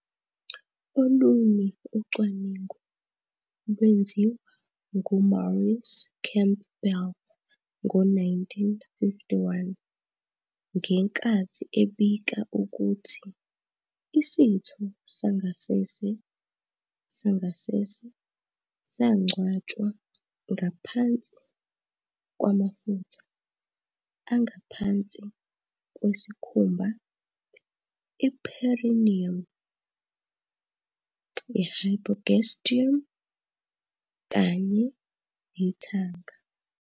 Olunye ucwaningo lwenziwa nguMaurice Campbell ngo-1951 ngenkathi ebika ukuthi isitho sangasese sangasese sangcwatshwa ngaphansi kwamafutha angaphansi kwesikhumba, i-perineum, i- hypogastrium kanye nethanga.